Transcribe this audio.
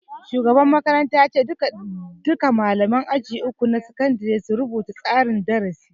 Shugaban makaranta ya ce duka malaman aji uku na sakandare su rubuta tsarin darasi